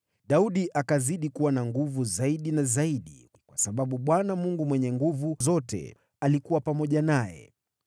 Daudi akazidi kuwa na nguvu zaidi na zaidi, kwa sababu Bwana Mungu Mwenye Nguvu Zote alikuwa pamoja naye.